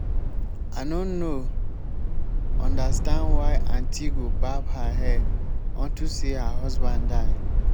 i no no understand why aunty go barb her hair unto say her husband die